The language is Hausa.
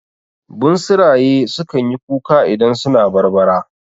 Bunsuraye su kanyi kuka idan suna barbara